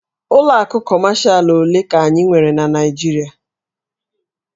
Ụlọ akụ Kọmashalụ ole ka anyị nwere na Naịjirịa?